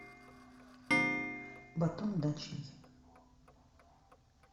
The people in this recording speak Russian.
батон дачный